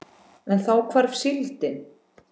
En þá hvarf síldin.